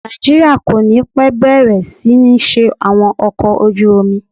Nàìjíríà kò ní pẹ́ bẹ̀rẹ̀ sí ní ṣe àwọn ọkọ̀ ojú omi.